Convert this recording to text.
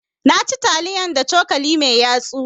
Na ci taliyan da cokali mai yatsu.